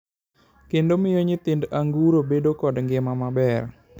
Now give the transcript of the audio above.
kendo miyo nyithind a anguro bedo kod ngima maber.